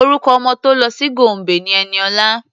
Orúkọ ọmọ tó lọ sí Gombe ni Ẹniọlá.